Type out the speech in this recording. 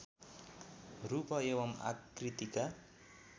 रूप एवं आकृतिका